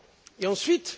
Et ensuite?